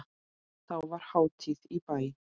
Þá var hátíð í bæ.